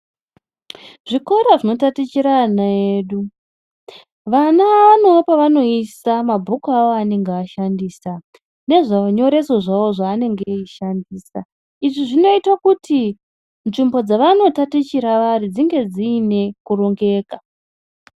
Zvikora zvinotatichira vana vedu vana vanewo pavanoisa mabhuku avo avanenge veishandisa nezvinoreso zvavo zvavanenge veishandisa izvi zvinoite kuti nzvimbo dzavanenge veitatichira vari dzinge dziine kurongeka.